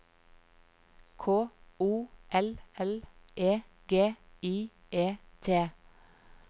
K O L L E G I E T